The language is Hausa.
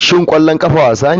Shin ƙwallon ƙafa wasa ne?